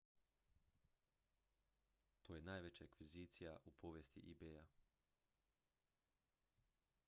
to je najveća akvizicija u povijesti ebaya